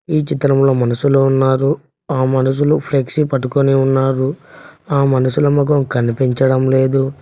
ఈ చిత్రంలో మనుషులు ఉన్నారు ఆ మనుషులు ఫ్లెక్సీ పట్టుకొని ఉన్నారు ఆ మనుషుల మొఖం కనిపించడం లేదు.